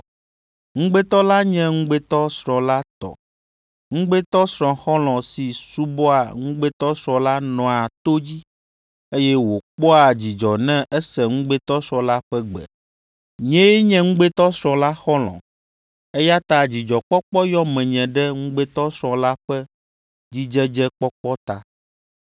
Ŋugbetɔ la nye ŋugbetɔsrɔ̃ la tɔ. Ŋugbetɔsrɔ̃ xɔlɔ̃ si subɔa ŋugbetɔsrɔ̃ la nɔa to dzi, eye wòkpɔa dzidzɔ ne ese ŋugbetɔsrɔ̃ la ƒe gbe. Nyee nye ŋugbetɔsrɔ̃ la xɔlɔ̃, eya ta dzidzɔkpɔkpɔ yɔ menye ɖe ŋugbetɔsrɔ̃ la ƒe dzidzedzekpɔkpɔ ta.